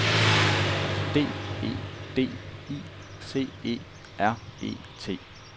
D E D I C E R E T